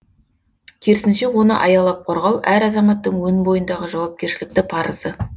керісінше оны аялап қорғау әр азаматтың өн бойындағы жауапкершілікті парызы